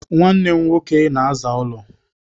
Nwanne m nwoke na-aza ụlọ.